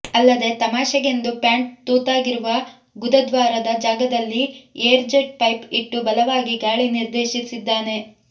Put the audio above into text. ಅಲ್ಲದೇ ತಮಾಷೆಗೆಂದು ಪ್ಯಾಂಟ್ ತೂತಾಗಿರುವ ಗುದದ್ವಾರದ ಜಾಗದಲ್ಲಿ ಏರ್ ಜೆಟ್ ಪೈಪ್ ಇಟ್ಟು ಬಲವಾಗಿ ಗಾಳಿ ನಿರ್ದೇಶಿಸಿದ್ದಾನೆ